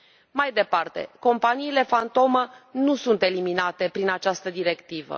Mai departe, companiile fantomă nu sunt eliminate prin această directivă.